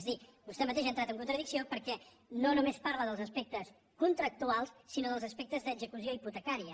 és a dir vostè mateix ha entrat en contradicció perquè no només parla dels aspectes contractuals sinó dels aspectes d’execució hipotecària